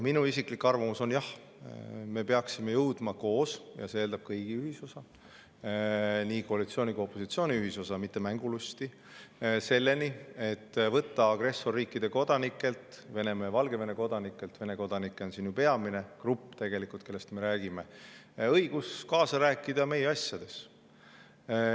Minu isiklik arvamus on see, et jah, me peaksime jõudma koos – ja see eeldab kõigi, nii koalitsiooni kui opositsiooni ühisosa, mitte mängulusti –, selleni, et võtame agressorriikide kodanikelt, Venemaa ja Valgevene kodanikelt – Vene kodanikud on ju siin tegelikult peamine grupp, kellest me räägime – õiguse rääkida kaasa meie asjades.